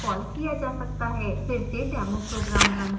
फिर से demo program run करें